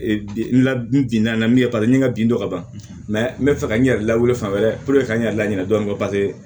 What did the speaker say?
N la bin na min ye paseke ni n ka bin tɔ ka ban n bɛ fɛ ka n yɛrɛ lawuli fan wɛrɛ ka n yɛrɛ la ɲinɛ dɔɔnin paseke